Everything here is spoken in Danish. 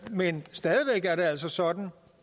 men stadig væk er det altså sådan